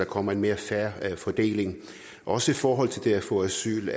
kommer en mere fair fordeling også i forhold til det at få asyl